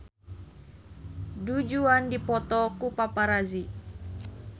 Du Juan dipoto ku paparazi